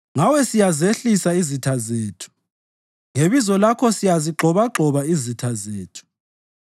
Ngawe siyazihlehlisa izitha zethu; ngebizo lakho siyazigxobagxoba izitha zethu.